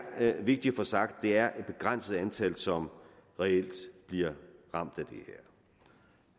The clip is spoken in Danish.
vigtigt at få sagt at det er et begrænset antal som reelt bliver ramt